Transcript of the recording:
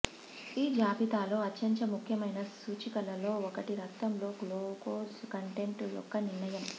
ఈ భారీ జాబితాలో అత్యంత ముఖ్యమైన సూచికలలో ఒకటి రక్తంలో గ్లూకోజ్ కంటెంట్ యొక్క నిర్ణయం